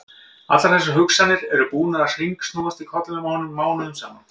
Allar þessar hugsanir sem eru búnar að hringsnúast í kollinum á honum mánuðum saman!